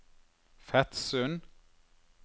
Fetsund